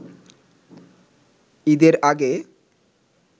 ঈদের আগে